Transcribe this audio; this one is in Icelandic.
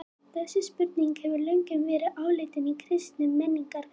þessi spurning hefur löngum verið áleitin í kristnum menningarheimi